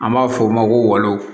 An b'a f'o ma ko walo